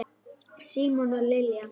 Símon og Lilja.